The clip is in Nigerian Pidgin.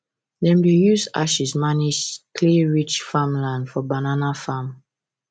dem dey use ashes manage clayrich farmland for banana farm